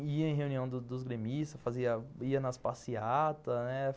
Ia em reunião dos dos gremistas, ia nas passeatas, né.